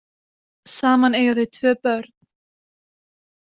Saman eiga þau tvö börn